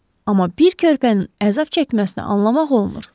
Amma bir körpənin əzab çəkməsinə anlamaq olmur.